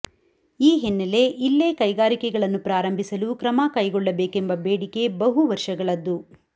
ಈ ಹಿನ್ನೆಲೆ ಇಲ್ಲೇ ಕೈಗಾರಿಕೆಗಳನ್ನು ಪ್ರಾರಂಭಿಸಲು ಕ್ರಮ ಕೈಗೊಳ್ಳಬೇಕೆಂಬ ಬೇಡಿಕೆ ಬಹುವರ್ಷಗಳದ್ದು